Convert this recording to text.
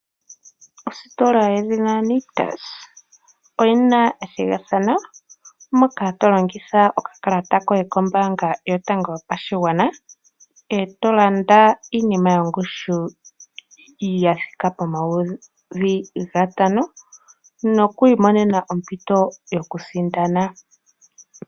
Ositola yedhina Nictus oyina ethigathano moka tolongitha okakalata koye kombaanga yotango yopashigwana eto landa iinima yongushu yathika pomayovi N$5000 nokwiimonena ompito yokusindana.